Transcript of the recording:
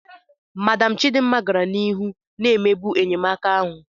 Madam Chidima gara n'ihu na-emegbu enyemaka ahụ